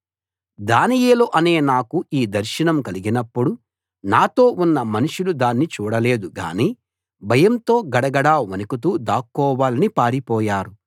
దానియేలు అనే నాకు ఈ దర్శనం కలిగినప్పుడు నాతో ఉన్న మనుషులు దాన్ని చూడలేదు గానీ భయంతో గడగడా వణుకుతూ దాక్కోవాలని పారిపోయారు